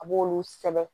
A b'olu sɛbɛn